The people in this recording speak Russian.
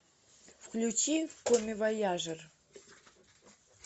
включи коммивояжер